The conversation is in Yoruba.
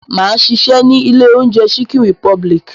Máa ṣiṣẹ́ ní ilé oúnjẹ Chicken republic.